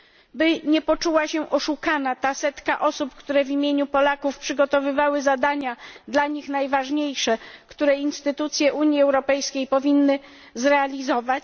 By nie poczuła się oszukana ta setka osób, która w imieniu Polaków przygotowywała zadania dla nich najważniejsze, które instytucje Unii Europejskiej powinny zrealizować.